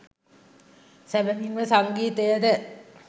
සැබවින් ම සංගීතය ද